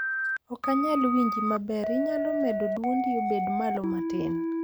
Ok anyal winji maber inyalo medo dwondi obed malo matin